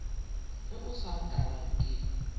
ge o sa nkarabe ke